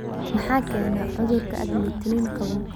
Maxaa keena cudurka agglutinin qabow?